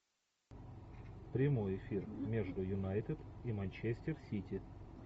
прямой эфир между юнайтед и манчестер сити